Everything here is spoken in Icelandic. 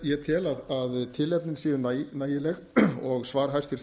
ég tel að tilefnin séu nægileg og svar hæstvirtur